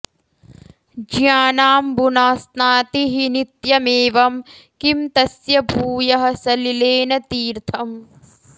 ज्ञानांबुना स्नाति हि नित्यमेवं किं तस्य भूयः सलिलेन तीर्थम्